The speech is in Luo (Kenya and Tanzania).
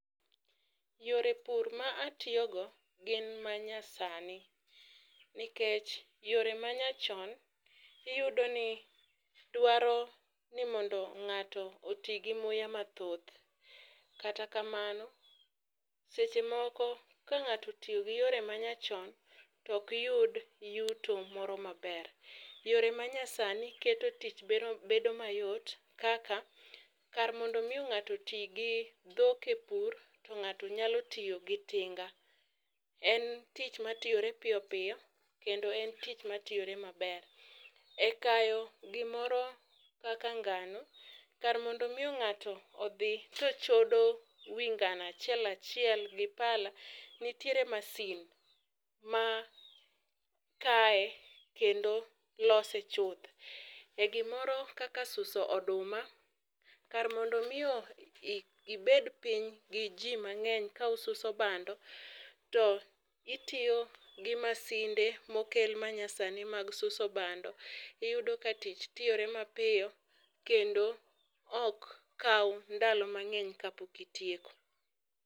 Yore pur ma atiyo go gin ma nya sani, nikech yore manya chon iyudo ni dwaro ni ng'ato otii gi muya mathoth .Kata kamano, seche moko ka ng'ato otiyo gi yore manya chon to ok yud yuto moro maber. Yore manya sani keto tich bedo mayot kaka kar mondo ng'ato oti gi dhok e pur , to ng'ato nyalo tiyo gi tinga . En tich matiyore piyopiyo kendo en tich matiyore maber .E kayo gimoro kaka ngano, kar mondo mi ng'ato dhi to chodo wi ng'ano achiel achiel gi pala, nitiere masin ma kaye kendo lose chuth . E gimoro kaka suso oduma, kar mondo miyo ibed gi jii mang'eny ka ususo bando to itiyo gi masinde manyasani mokel mag suso bando iyudo ka tich tiyore mapiyo kendo ok kaw ndalo mang'eny kapok itieko.